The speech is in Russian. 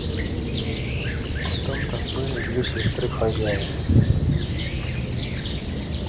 потом там были две сестры хозяина